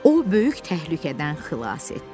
O böyük təhlükədən xilas etdi.